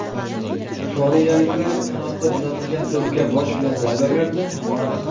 Koreyaliklar qanotdan uzatilgan to‘pga bosh bilan zarba berdi, noaniq.